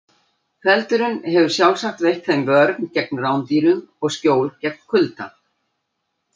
Feldurinn hefur sjálfsagt veitt þeim vörn gegn rándýrum og skjól gegn kulda.